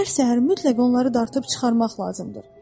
Hər səhər mütləq onları dartıb çıxarmaq lazımdır.